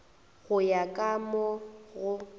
go ya ka mo go